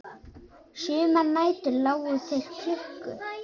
Sumar nætur lágu þeir klukku